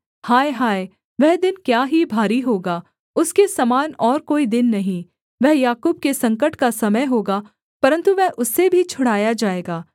हाय हाय वह दिन क्या ही भारी होगा उसके समान और कोई दिन नहीं वह याकूब के संकट का समय होगा परन्तु वह उससे भी छुड़ाया जाएगा